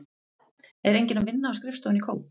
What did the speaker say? Er enginn að vinna á skrifstofunni í Kóp?